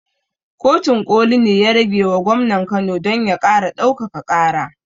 Kotun ƙoli ne ya ragewa gwamnan kano don ya ƙara ɗaukaka ƙara